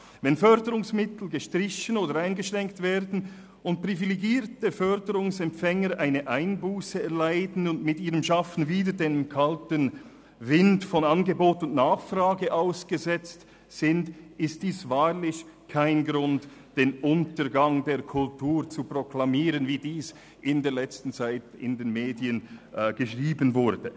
Wenn Förderungsmittel gestrichen oder eingeschränkt werden, privilegierte Förderungsempfänger eine Einbusse erleiden und mit ihrem Schaffen wieder dem kalten Wind von Angebot und Nachfrage ausgesetzt sind, ist dies wahrlich kein Grund, den Untergang der Kultur zu proklamieren, wie dies in letzter Zeit in den Medien geschrieben wurde.